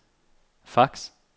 fax